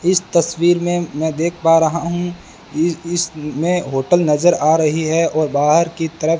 इस तस्वीर में मैं देख पा रहा हूं इस इसमें होटल नजर आ रही है और बाहर की तरफ --